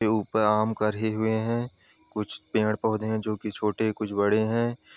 के ऊपर आम हुए है कुछ पेड़ पौधे है जो कि कुछ छोटे कुछ बड़े हैं ।